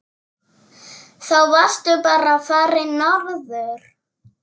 Þá varstu bara farinn norður.